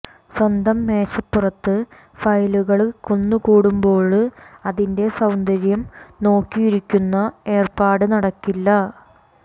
സ്വന്തം മേശപ്പുറത്ത് ഫയലുകള് കുന്നുകൂടുമ്പോള് അതിന്റെ സൌന്ദര്യം നോക്കിയിരിക്കുന്ന ഏര്പ്പാട് നടപ്പില്ല